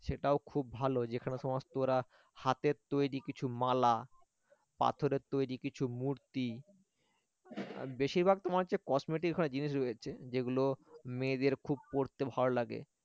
সেটাও খুব ভালো যেখানে সমস্ত ওরা হাতের তৈরি কিছু মালা পাথরের তৈরি কিছু মূর্তি আর বেশিরভাগ তোমার হচ্ছে cosmetic জিনিস রয়েছে যেগুলো মেয়েদের খুব পরতে ভালো লাগে